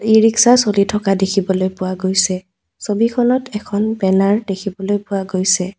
ই rickshaw চলি থকা দেখিবলৈ পোৱা গৈছে । ছবিখনত এখন বেনাৰ দেখিবলৈ পোৱা গৈছে।